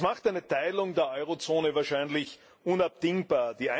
Das macht eine Teilung der Eurozone wahrscheinlich unabdingbar.